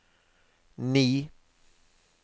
ni